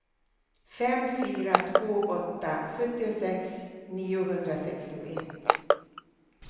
fem fyra två åtta sjuttiosex niohundrasextioett